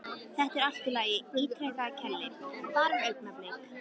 Þetta er allt í lagi, ítrekar Keli, bara augnablik.